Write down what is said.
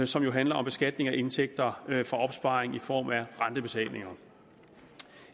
som jo handler om beskatning af indtægter fra opsparing i form af rentebetalinger